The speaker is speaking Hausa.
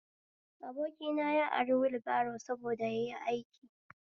Abokina ya ari wulbaro saboda yayi aiki